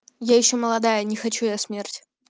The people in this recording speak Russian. я ещё молодая не хочу я смерть